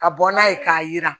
Ka bɔ n'a ye k'a yira